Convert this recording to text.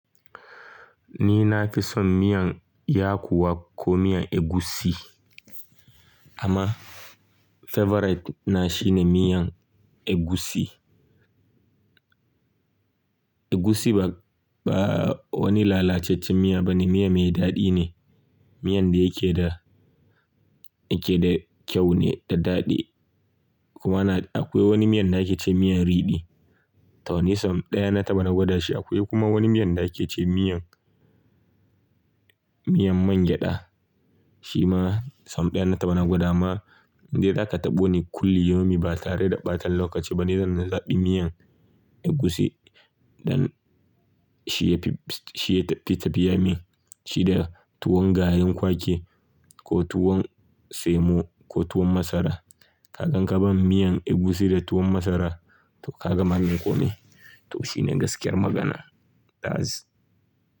Ni na fi son miyan yakuwa ko miyan egusi amma favorite na shine miyan egusi. Egusi ba, ba wani lalacaccen miya bane, miya mai daɗi ne. Miyan da yake da, yake da kyau ne da daɗi kuma ana-- akwai wani miyan da ake ce miyan riɗi. To ni sam ɗaya na taba na gwada shi. Akwai kuma wani miyan da ake ce miyan, miyan mangyaɗa. Shi ma sam ɗaya na ta bana na gwada ma. Inde zaka taɓo ni kulli yomi ba tare da ɓata lokaci ba ni zan zaɓi miyan egusi. Dan shi ya fi, shi ya fi tafiya min. Shi da tuwon gayen kwake ko tuwon semo ko tuwon masara. Kakan kaban miyan egusi da tuwon masara to ka ga magin kome. To shi ne gaskiyar magana. Ta'az.